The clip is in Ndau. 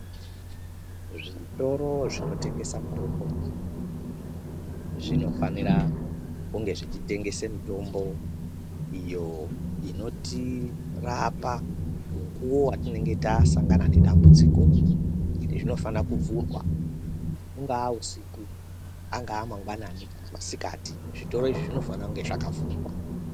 Zvitoro zvinotengesa mitombo zvinofanire kunge zvichitengese mitombo iyo inotirapa mukuwo watinenge tasangana nedambudziko, zvinofana kuvhurwa, ungaa usiku, ungaa mangwanani kana masikati, zvitoro izvi zvinofana kunge zvakavhurwa.